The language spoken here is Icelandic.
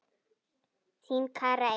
Þín, Kara Eir.